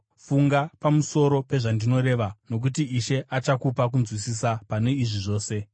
Funga pamusoro pezvandinoreva, nokuti Ishe achakupa kunzwisisa pane izvi zvose.